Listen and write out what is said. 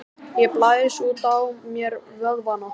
Ég blæs út á mér vöðvana.